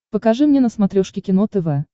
покажи мне на смотрешке кино тв